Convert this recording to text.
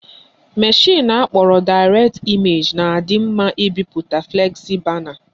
Mashịn akpọrọ Direct Image na-adị mma ibipụta flexi bana